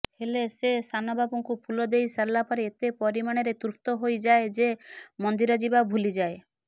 ହେଲେ ସେ ସାନବାବୁଙ୍କୁ ଫୁଲଦେଇସାରିଲା ପରେ ଏତେ ପରିମାଣରେ ତୃପ୍ତହୋଇଯାଏ ଯେ ମନ୍ଦିର ଯିବା ଭୁଲିଯାଏ